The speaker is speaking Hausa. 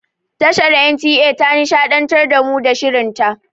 Tashar NTA ta nishaɗantar da mu da shirin ta.